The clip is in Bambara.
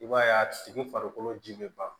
I b'a ye a tigi farikolo ji be ban